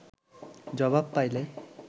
জবাব পাইলে